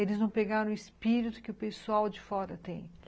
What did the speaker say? Eles não pegaram o espírito que o pessoal de fora tem.